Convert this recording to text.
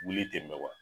Wuli ten mɛ wa